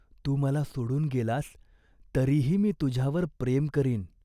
तू मला सोडून गेलास, तरीही मी तुझ्यावर प्रेम करीन.